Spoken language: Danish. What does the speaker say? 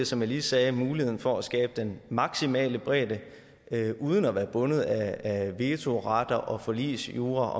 som jeg lige sagde muligheden for at skabe den maksimale bredde uden at være bundet af vetoret og forligsjura